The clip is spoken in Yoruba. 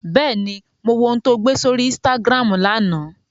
Bẹ́ẹ̀ni, mo wo ohun tó gbé sórí Instagram lánàá